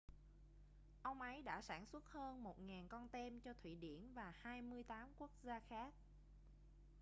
ông ấy đã sản xuất hơn 1.000 con tem cho thụy điển và 28 quốc gia khác